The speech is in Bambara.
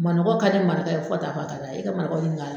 Manɔgɔ ka di maraka ye fo ka taa fɔ k'a d'a ye i ka marakaw ɲininka